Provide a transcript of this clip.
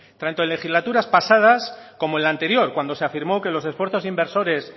tanto en legislaturas pasadas como en la anterior cuando se afirmó que los esfuerzos inversores